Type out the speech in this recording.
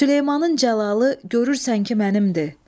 Süleymanın cəlalı görürsən ki mənimdir.